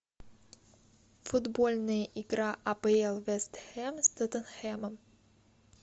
футбольная игра апл вест хэм с тоттенхэмом